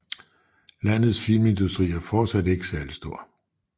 Landets filmindustri er fortsat ikke særlig stor